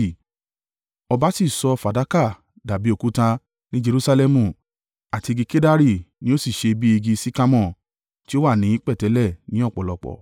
Ọba sì sọ fàdákà dàbí òkúta ní Jerusalẹmu, àti igi kedari ni ó sì ṣe bí igi sikamore, tí ó wà ní pẹ̀tẹ́lẹ̀ ní ọ̀pọ̀lọpọ̀.